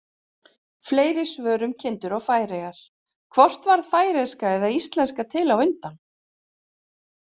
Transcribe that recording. Fleiri svör um kindur og Færeyjar: Hvort varð færeyska eða íslenska til á undan?